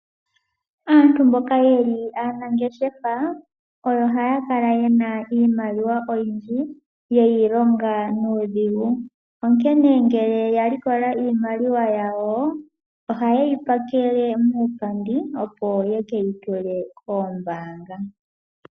Aantu mboka aanangeshefa oyo haya kala yena iimaliwa oyindji yeyi longa nuudhigu. Onkene ngele ya likola iimaliwa yawo oha yeyi pakele muupandi, opo ye keyi tule koombanga.